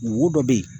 Wo dɔ bɛ yen